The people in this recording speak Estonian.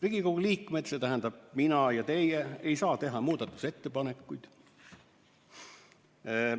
Riigikogu liikmed, see tähendab mina ja teie, ei saa teha muudatusettepanekuid.